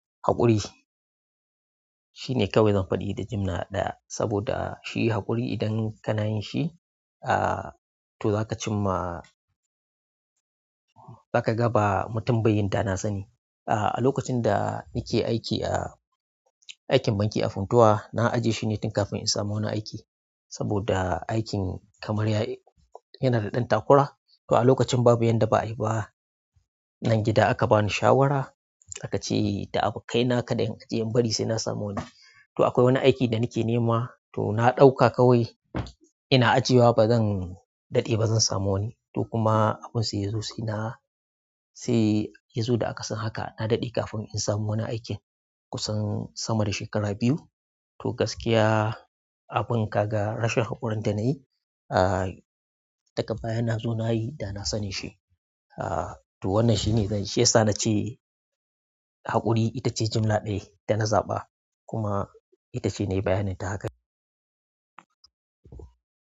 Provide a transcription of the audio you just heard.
Haƙuri shine kawai zan faɗi da jimla ɗaya, saboda shi haƙuri idan kana yin shi, ah to za ka cim ma-- za ka ga ba mutum bai yin da na sani. Ah a lokacin da nike aiki a aikin banki a Funtuwa, na ajje shi ne tun kafin in samu wani aiki. Saboda aikin kamar ya yana da ɗan takura, to a lokacin babu yanda ba'a yi ba. Nan gida aka bani shawara, aka ce da abba ka ina kaɗai in bari sai na samu wani. To akwai wani aiki da nake nema, to na ɗauka kawai ina ajiye wa bazan daɗe ba zan samu wani. To kuma abun sai ya zo sai na, sai ya zo da akasin haka. Na daɗe kafin in samu wani aikin kusan sama da shekara biyu. To gaskiya abun ka ga rashin haƙurin da nayi, ah daga baya na zo nayi da na sanin shi. Ah to wannan shine zance, ya sa nace haƙuri ita ce jimla ɗaya da na zaɓa. Kuma ita ce nayi bayanin ta haka.